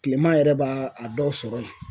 Kileman yɛrɛ b'a a dɔw sɔrɔ yen